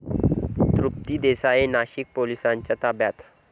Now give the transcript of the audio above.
तृप्ती देसाई नाशिक पोलिसांच्या ताब्यात